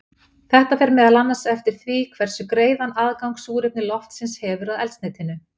Þetta fer meðal annars eftir því hversu greiðan aðgang súrefni loftsins hefur að eldsneytinu.